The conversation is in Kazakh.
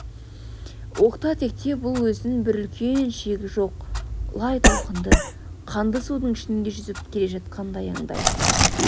оқта-текте бұл өзін бір үлкен шегі жоқ лай толқынды қанды судың ішінде жүзіп келе жатқандай аңдайтын